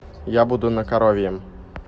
я буду на коровьем